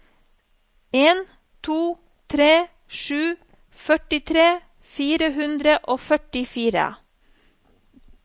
en to tre sju førtitre fire hundre og førtifire